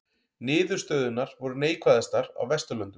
Niðurstöðurnar voru neikvæðastar á Vesturlöndum